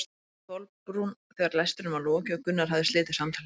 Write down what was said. spurði Kolbrún þegar lestrinum var lokið og Gunnar hafði slitið samtalinu.